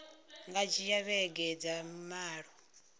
nga dzhia vhege dza malo